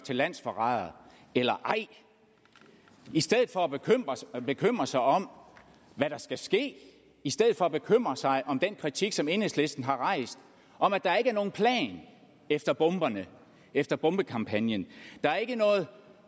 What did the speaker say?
til landsforrædere eller ej i stedet for at bekymre sig om hvad der skal ske i stedet for at bekymre sig om den kritik som enhedslisten har rejst om at der ikke er nogen plan efter bomberne efter bombekampagnen at der ikke er noget